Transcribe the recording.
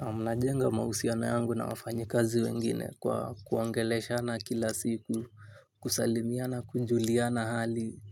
Naamna jenga mahusiano yangu na wafanyi kazi wengine kwa kuongele shana kila siku. Kusalimia na kujulia na hali.